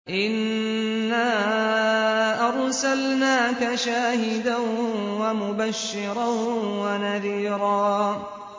إِنَّا أَرْسَلْنَاكَ شَاهِدًا وَمُبَشِّرًا وَنَذِيرًا